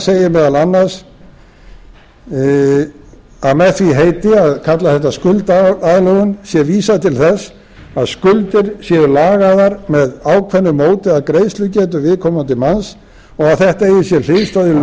segir meðal annars að með því heiti að kalla þetta skuldaaðlögun sé vísað til þess að skuldir séu lagaðar með ákveðnu móti að greiðslugetu viðkomandi manns og þetta eigi sér hliðstæðu í